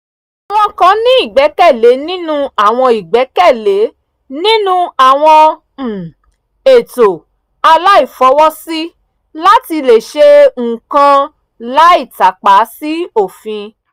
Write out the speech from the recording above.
àwọn kan ní ìgbẹ́kẹ̀lé nínú àwọn ìgbẹ́kẹ̀lé nínú àwọn um ètò àìláfọwọ́sí láti lè ṣe nǹkan láì tàpa sí òfin